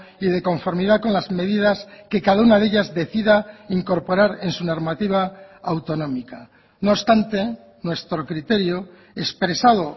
y de conformidad con las medidas que cada una de ellas decida incorporar en su normativa autonómica no obstante nuestro criterio expresado